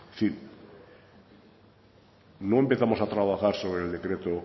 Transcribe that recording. sí no empezamos a trabajar sobre el decreto